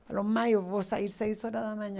Ele falou, mãe, eu vou sair seis horas da manhã.